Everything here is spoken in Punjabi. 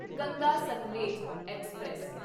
ਗੰਗਾ ਸਤਲੇਜ ਐਕਸਪ੍ਰੈਸ